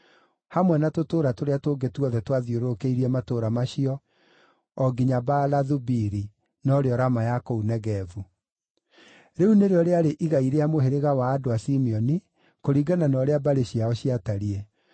hamwe na tũtũũra tũrĩa tũngĩ tuothe twathiũrũrũkĩirie matũũra macio o nginya Baalathu-Biri (norĩo Rama ya kũu Negevu). Rĩu nĩrĩo rĩarĩ igai rĩa mũhĩrĩga wa andũ a Simeoni, kũringana na ũrĩa mbarĩ ciao ciatariĩ.